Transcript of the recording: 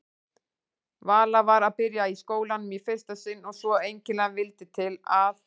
Vala var að byrja í skólanum í fyrsta sinn og svo einkennilega vildi til að